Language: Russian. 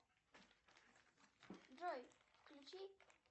джой включи